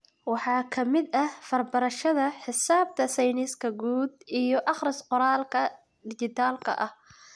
Waxa ka mid ah farbarashada, xisaabta, sayniska guud, iyo akhris-qoraalka dhijitaalka ah.